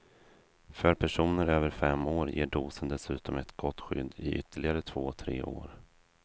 För personer över fem år ger dosen dessutom ett gott skydd i ytterligare två, tre år.